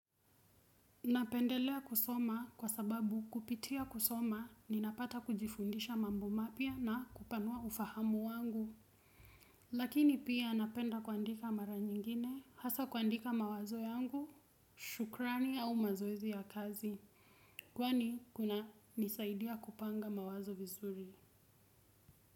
Napendelea kusoma kwa sababu kupitia kusoma ninapata kujifundisha mambo mapya na kupanua ufahamu wangu. Lakini pia napenda kuandika mara nyingine hasa kuandika mawazo yangu, shukrani au mazoezi ya kazi. Kwani kunanisaidia kupanga mawazo vizuri.